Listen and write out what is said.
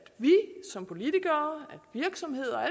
vi som politikere virksomheder